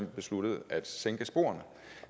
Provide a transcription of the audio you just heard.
besluttede at sænke sporene